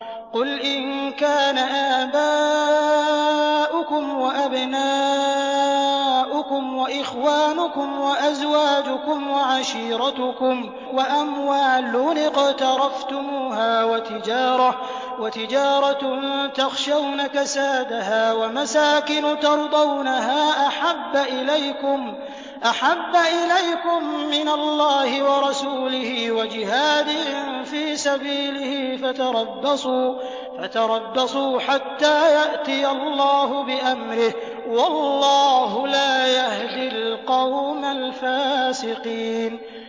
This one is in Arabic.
قُلْ إِن كَانَ آبَاؤُكُمْ وَأَبْنَاؤُكُمْ وَإِخْوَانُكُمْ وَأَزْوَاجُكُمْ وَعَشِيرَتُكُمْ وَأَمْوَالٌ اقْتَرَفْتُمُوهَا وَتِجَارَةٌ تَخْشَوْنَ كَسَادَهَا وَمَسَاكِنُ تَرْضَوْنَهَا أَحَبَّ إِلَيْكُم مِّنَ اللَّهِ وَرَسُولِهِ وَجِهَادٍ فِي سَبِيلِهِ فَتَرَبَّصُوا حَتَّىٰ يَأْتِيَ اللَّهُ بِأَمْرِهِ ۗ وَاللَّهُ لَا يَهْدِي الْقَوْمَ الْفَاسِقِينَ